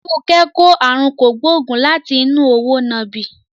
Funke kò àrùn kògbóògùn láti inú òwò nàbì.